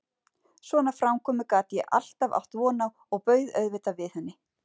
Svona framkomu gat ég alltaf átt von á og bauð auðvitað við henni.